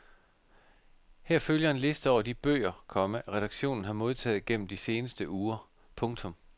Her følger en liste over de bøger, komma redaktionen har modtaget gennem de seneste uger. punktum